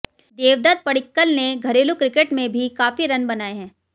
देवदत्त पडिक्कल ने घरेलू क्रिकेट में भी काफी रन बनाए हैं